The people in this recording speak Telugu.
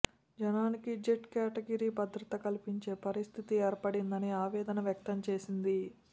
జనానికి జెడ్ కేటగిరి భద్రత కల్పించే పరిస్థితి ఏర్పడిందని ఆవేదన వ్యక్తం చేసింది